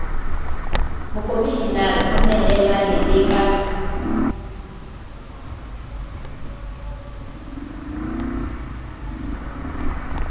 mokomishenara o nehelane le ka